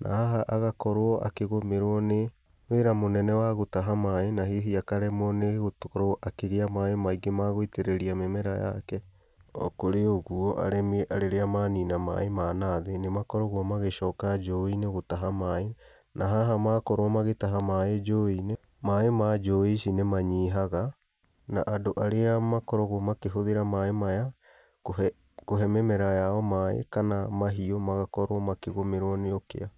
Na haha agakorwo akĩgũmĩrwo nĩ wĩra mũnene wa gũtaha maaĩ, na hihi akaremwo nĩ gũkorwo akĩgĩa maaĩ maingĩ ma gũitĩrĩria mĩmera yake. O kũrĩ ũguo, arĩmi rĩrĩa manina maaĩ ma nathĩĩ nĩ makoragwo magĩcoka njũĩ-inĩ gũtaha maaĩ, na haha makorwo magĩtaha maaĩ njũĩ-inĩ, maaĩ ma njũĩ ici nĩ manyihaga, na andũ arĩa makoragwo makĩhũthĩra maaĩ maya kũhe, kũhe mĩmera yao maaĩ, kana mahiũ, magakorwo makĩgũmĩrwo nĩ ũkĩa.